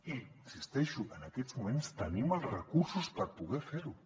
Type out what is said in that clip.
i hi insisteixo en aquests moments tenim els recursos per poder fer ho